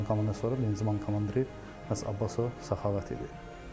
Mən komandanın sonra divizion komandiri məhz Abbasov Səxavət idi.